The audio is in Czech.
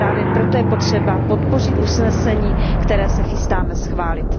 Právě proto je potřeba podpořit usnesení, které se chystáme schválit.